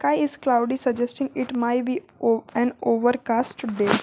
Sky is cloudy suggested it my be o an overcast day.